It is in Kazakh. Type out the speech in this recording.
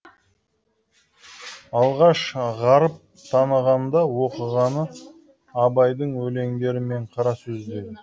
алғаш ғарып танығанда оқығаны абайдың өлеңдері мен қара сөздері